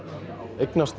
eignast